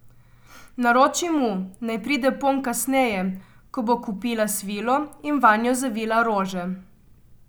Naroči mu, naj pride ponj kasneje, ko bo kupila svilo in vanjo zavila rože.